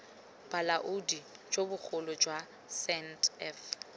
bolaodi jo bogolo jwa sandf